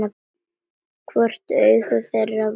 Hvort augu þeirra væru eins.